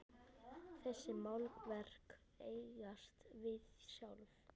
Þessi málverk eigast við sjálf.